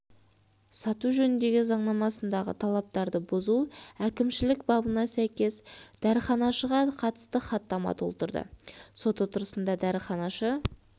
сату жөніндегі заңнамасындағы талаптарды бұзу әкімшілік бабына сәйкес дәріханашыға қатысты хаттама толтырды сот отырысында дәріханашы